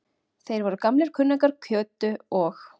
Þeir voru gamlir kunningjar Kötu og